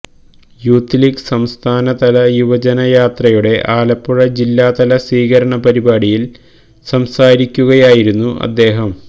youth league സംസ്ഥാന തല യുവജനയാത്രയുടെ ആലപ്പുഴ ജില്ലാതല സ്വീകരണ പരിപാടിയില് സംസാരിക്കുകയായിരുന്നു അദ്ദേഹം